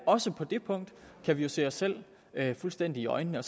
også på det punkt kan vi jo se os selv fuldstændig i øjnene